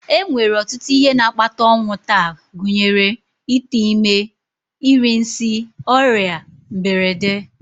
E nwere ọtụtụ ihe na-akpata ọnwụ taa gụnyere ite ime, iri nsị, ọrịa, mberede